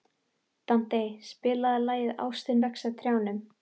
Dante, spilaðu lagið „Ástin vex á trjánum“.